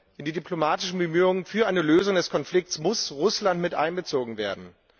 In die diplomatischen Bemühungen für eine Lösung des Konflikts muss Russland mit einbezogen werden.